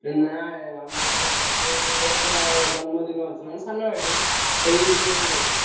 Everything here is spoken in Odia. ନାଇଁ ଆମରଗୋଟେ ଭାଇଟେ ହେବେ ତାଙ୍କର ଜନ୍ମଦିନ ଅଛି ମାନେ ସାନ ଭାଇଟେ ସେଇ ଏ ପାଇଁ କହୁଛି।